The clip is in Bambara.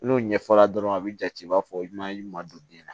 N'o ɲɛfɔra dɔrɔn a bi jate i b'a fɔ i ma ɲuman don den na